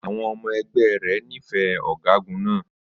Àwọn ọmọ ẹgbẹ́ rẹ̀ nífẹ̀ẹ́ ọ̀gágun náà.